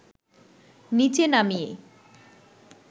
নিচে নামিয়ে